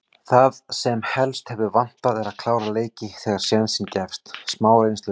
Það sem helst hefur vantað er að klára leiki þegar sénsinn gefst. smá reynsluleysi.